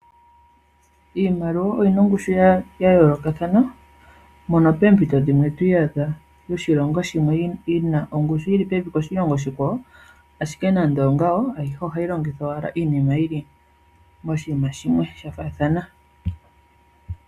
Iimaliwa oyina ongushu ya yoolokathana mono poompito dhimwe to iyadha yoshilongo shimwe yina ongushu yili pevi koshilongo oshikwawo. Ashike nando onga wo ayihe ohayi longithwa owala miinima yafaathana.